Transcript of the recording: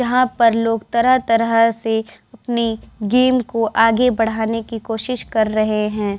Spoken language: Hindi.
यहाँ पर लोग तरह-तरह से अपनी गेम को आगे बढ़ाने की कोशिश कर रहे है।